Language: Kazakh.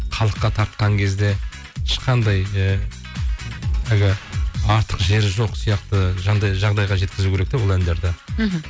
халыққа тартқан кезде ешқандай ы әлгі артық жері жоқ сияқты жағдайға жеткізу керек те ол әндерді мхм